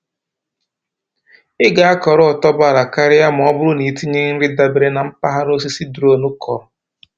Ị ga-akọrọ otuboala karịa ma ọ bụrụ na i tinye nri dabere na mpaghara osisi drones kọrọ.